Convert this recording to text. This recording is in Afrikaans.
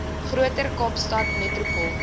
groter kaapstad metropool